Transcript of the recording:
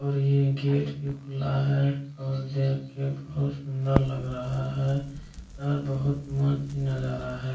और ये गेट भी खुला है और देख के बहुत सुन्दर लग रहा है और बहुत मस्त नजारा है।